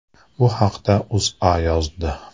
Bu haqda O‘zA yozdi.